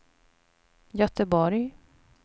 Göteborg